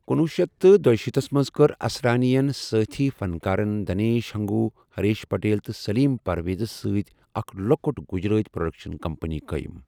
کنوُہ شیتھ تہٕ دُشیٖتھس منٛز کٔر اسرانیَن سٲتھی فنکارن دنیش ہنگو، ہریش پٹیل تہٕ سلیم پرویزَس سۭتۍ اکھ لۄکٕت گجرٲتی پروڈکشن کمپنی قائم۔